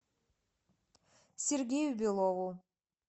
сергею белову